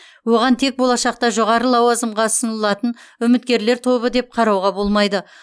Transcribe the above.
оған тек болашақта жоғары лауазымға ұсынылатын үміткерлер тобы деп қарауға болмайды